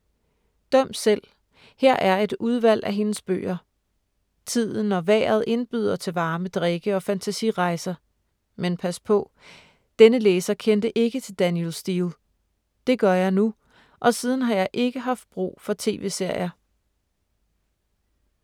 Døm selv, her er et udvalg af hendes bøger. Tiden og vejret indbyder til varme drikke og fantasirejser. Men pas på. Denne læser kendte ikke til Danielle Steel. Det gør jeg nu og siden har jeg ikke haft brug for tv-serier.